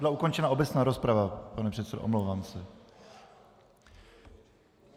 Byla ukončena obecná rozprava, pane předsedo, omlouvám se.